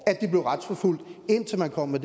at de blev retsforfulgt indtil man kom med